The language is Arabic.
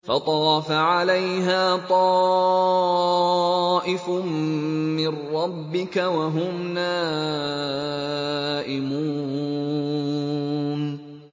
فَطَافَ عَلَيْهَا طَائِفٌ مِّن رَّبِّكَ وَهُمْ نَائِمُونَ